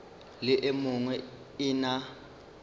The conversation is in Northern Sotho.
le e nngwe e na